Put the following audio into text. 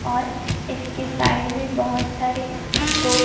और इसके साइड में बहोत सारे सो--